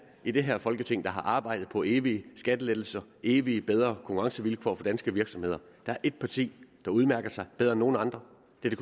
i det her folketing der har arbejdet på evige skattelettelser evige bedre konkurrencevilkår for danske virksomheder der er et parti der udmærker sig bedre end nogen andre